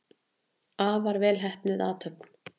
Afar vel heppnuð athöfn.